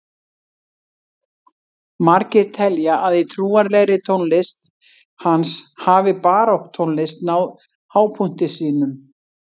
Margir telja að í trúarlegri tónlist hans hafi barokktónlist náð hápunkti sínum.